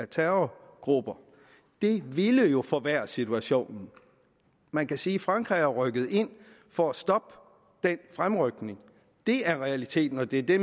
terrorgrupper det ville jo forværre situationen man kan sige at frankrig er rykket ind for at stoppe den fremrykning det er realiteten og det er det